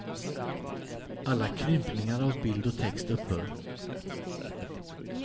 Alla krympningar av bild och text upphör.